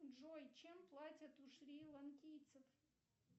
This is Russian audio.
джой чем платят у шри ланкийцев